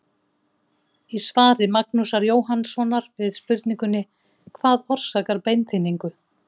Í svari Magnúsar Jóhannssonar við spurningunni Hvað orsakar beinþynningu?